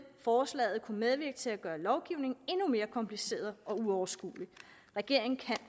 forslaget kunne medvirke til at gøre lovgivningen endnu mere kompliceret og uoverskuelig regeringen kan